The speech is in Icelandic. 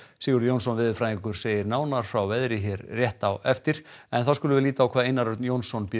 Sigurður Jónsson veðurfræðingur segir nánar frá veðri hér rétt á eftir þá skulum við líta á hvað Einar Örn Jónsson býður